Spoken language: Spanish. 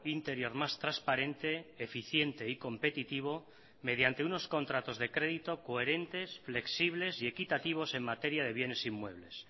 interior más transparente eficiente y competitivo mediante unos contratos de crédito coherentes flexibles y equitativos en materia de bienes inmuebles